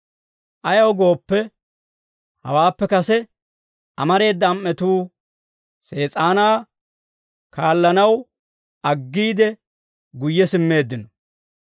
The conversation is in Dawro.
Ayaw gooppe, hawaappe kase amareeda am"atuu Sees'aanaa kaallanaw aggiide guyye simmeeddino.